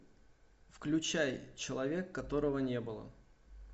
включай человек которого не было